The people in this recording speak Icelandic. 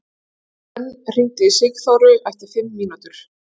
Hvönn, hringdu í Sigþóru eftir fimm mínútur.